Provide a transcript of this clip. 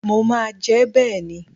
Mo máa jẹ́ bẹ́ẹ̀ ni.